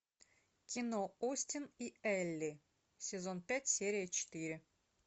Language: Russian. кино остин и элли сезон пять серия четыре